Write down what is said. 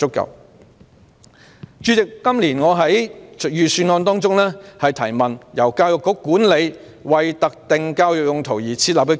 代理主席，今年我就預算案提問時，提到由教育局管理的為特定教育用途而設立的基金。